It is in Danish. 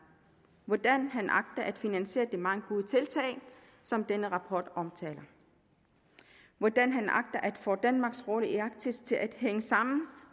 hvordan han agter at finansiere de mange gode tiltag som denne rapport omtaler hvordan han agter at få danmarks rolle i arktis til at hænge sammen